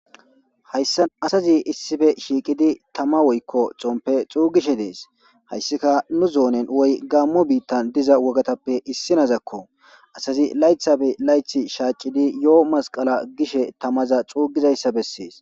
Hayssa asazi issife shiiqidi tama woykko xompe xuugishe dees hayssika nu zoonen woy gaammo biittan diza wogatappe issinazakko asazi laythabe layth shaacidi yoo masqala gishe tamaza xuugizayssa bessees